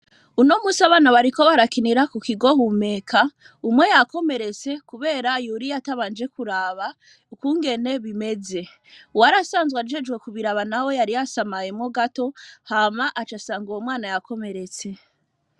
Uno munsi, abana bariko barakinira, ku kigo Humeka, umwe yakomeretse, kubera yuriye, atabanje kuraba, ukungene bimeze; uwari asanzwe, ajejwe kubiraba nawe, yari yasamaye mwo gato, hama aca asanga, uwo mwana, yakomeretse.